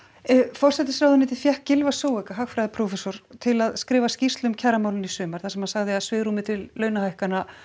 forsætisráðuneytið fékk Gylfa hagfræðiprófessor til að skrifa skýrslu um kjaramálin í sumar þar sem hann sagði að svigrúmið til launahækkana